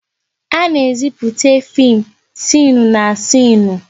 A na-ezipụte fim sịnụ na sịnụ